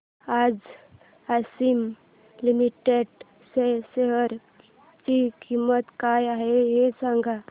आज आशिमा लिमिटेड च्या शेअर ची किंमत काय आहे हे सांगा